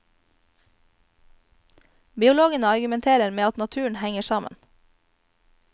Biologene argumenterer med at naturen henger sammen.